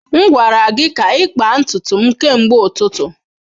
M gwara gị ka ịkpa ntutu m kemgbe ụtụtụ.